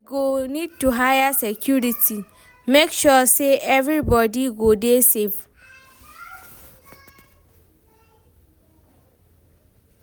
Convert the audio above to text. We go need to hire security, make sure sey everybodi go dey safe.